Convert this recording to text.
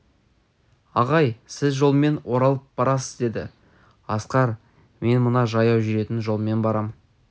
ағай сіз жолмен оралып барасыз деді асқар мен мына жаяу жүретін жолмен барам